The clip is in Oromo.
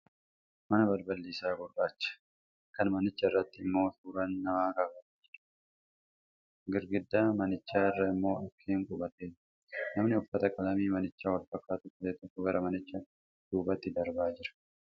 Mana balballi isaa hurraachaa, kan manichanirratyi immoo suuraan namaa kaafamee jiruu gi manicha irra immoo dhukkee qubateera. Namni uffata qalamii manichaan wal fakkaatu uffate tokko gara manicha deebaatti darbaa jira.